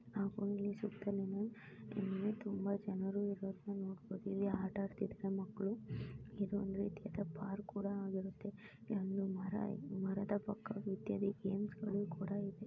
ಹಾಗೂ ಸುತ್ತಲಿನಾ ಇಲ್ಲಿ ತುಂಬಾ ಜನರು ಇರುವುದನ್ನು ನಾವು ನೋಡುತಿವಿ ಆಟ ಆಡುತ್ತಿರುವ ಮಕ್ಕಳು ಇದು ಒಂದು ರಿತಿಯಾದ ಪಾರ್ಕ್ ಕುಡಾ ಆಗಿರುತ್ತದೆ ಇಲ್ಲೊಂದು ಮರ ಮರದ ಪಕ್ಕಾ ಇತ್ಯಾದಿ ಗೇಮ್ಸ್ಗಳು ಕುಡಾ ಇದೆ.